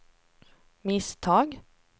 misstag